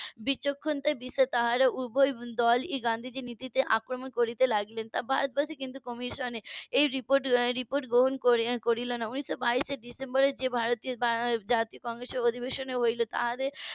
বিচক্ষণতায় . তারা উভয় দল ই গান্ধীজির নীতিতে আক্রমণ করতে লাগলেন ভারতবর্ষে কিন্তু commission এ এই report report গ্রহণ করলো না উনিশ বাইশে যে জাতীয় কংগ্রেসের অধিবেশনে হলো তাদের